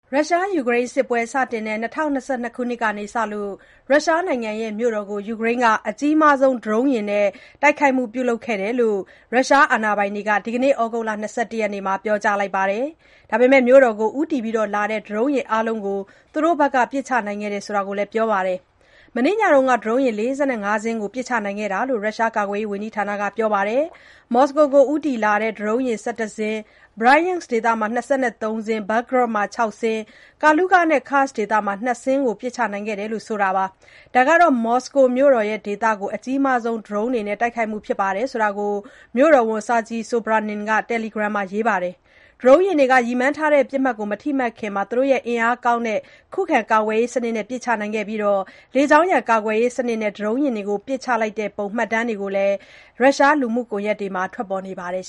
ရုရှား-ယူကရိန်း စစ်ပွဲစတင်တဲ့ ၂၀၂၂ ခုနှစ်ကစလို့ ရုရှားနိုင်ငံမြို့တော် မော်စကို ကို ယူကရိန်းက ဒရုန်း အများဆုံး သုံးပြီး တိုက်ခိုက်ခဲ့ကြောင်း ရုရှား အာဏာပိုင်တွေက ဒီကနေ့ ဩဂုတ်လ ၂၁ ရက်နေ့မှာ ပြောကြားလိုက်ပြီး မြို့တော်ကို ဦးတည်လာနေတဲ့ ဒရုန်း အားလုံးကို သူတို့ဘက်က ပစ်ချနိုင်ခဲ့ကြောင်း ပြောပါတယ်။ မနေ့ညက ဒရုန်း ၄၅ စင်း ကို ပစ်ချနိုင်ခဲ့ကြောင်း ရုရှားကာကွယ်ရေးဝန်ကြီးဌာနက ပြောပါတယ်။ မော်စကိုဒေသကို ဦးတည်လာနေတဲ့ ဒရုန်း ၁၁ စင်း ၊ Bryansk ဒေသမှာ ၂၃ စင်း ၊ Belgorod မှာ ၆ စင်း ၊ Kaluga နဲ့ Kursk ဒေသတွေမှာ ၂ စင်း စီ ပစ်ချနိုင်ခဲ့တယ်လို့ ဆိုပါတယ်။ ဒါဟာ မော်စကိုမြို့တော်ဒေသကို အကြီးမားဆုံး ဒရုန်းယာဉ်နဲ့ တိုက်ခိုက်မှုဖြစ်ကြောင်း မြို့တော်ဝန် Sergey Sobyanin က တယ်လီဂရမ် လူမှုကွန်ယက်မှာ ရေးပါတယ်။ ဒရုန်းယာဉ်တွေ ရည်မှန်းထားတဲ့ ပစ်မှတ်ကို မထိမှန်ခင် သူတို့ရဲ့ အင်အားကောင်းတဲ့ ခုခံ ကာကွယ်ရေးစနစ်နဲ့ ပစ်ချနိုင်ခဲ့တယ်လို့လည်း သူက ပြောပါတယ်။ လေကြောင်းရန် ကာကွယ်ရေးစနစ်နဲ့ ဒရုန်းယာဉ်ကို ပစ်ချလိုက်တဲ့ပုံ မှတ်တမ်း ဗွီဒီယိုတွေ ရုရှား လူမှုကွန်ယက်ပေါ်မှာ ထွက်ပေါ်နေပါတယ်